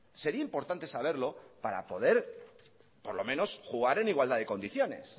sería importante saberlo para poder por lo menos jugar en igualdad de condiciones